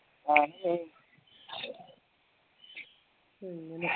ആ